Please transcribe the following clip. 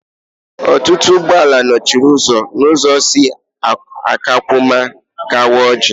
Ọtụtụ ụgbọala nọchiri ụzọ n'ụzọ si Akwakụma gawa Ọjị